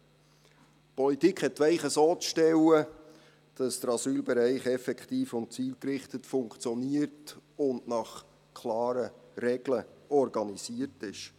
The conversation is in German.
Die Politik hat die Weichen so zu stellen, dass der Asylbereich effektiv und zielgerichtet funktioniert und nach klaren Regeln organisiert ist.